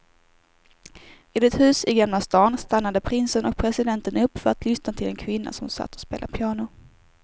Vid ett hus i gamla stan stannade prinsen och presidenten upp för att lyssna till en kvinna som satt och spelade piano.